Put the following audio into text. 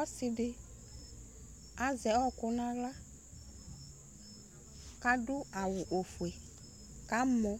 Ɔsidi azɛ ɔkʋ nʋ aɣla kʋ adʋ awʋ ofue kʋ amɔ